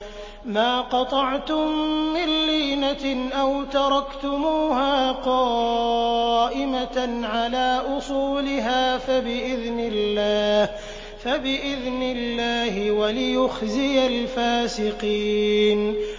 مَا قَطَعْتُم مِّن لِّينَةٍ أَوْ تَرَكْتُمُوهَا قَائِمَةً عَلَىٰ أُصُولِهَا فَبِإِذْنِ اللَّهِ وَلِيُخْزِيَ الْفَاسِقِينَ